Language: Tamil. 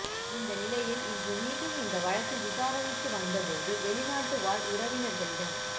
இந்த நிலையில் இன்று மீண்டும் இந்த வழக்கு விசாரணைக்கு வந்தபோது வெளிநாடு வாழ் உறவினர்களிடம்